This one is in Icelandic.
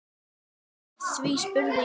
Hví, spurði ég?